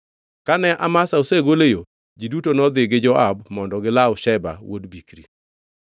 Kane Amasa osegol e yo, ji duto nodhi gi Joab mondo gilaw Sheba wuod Bikri.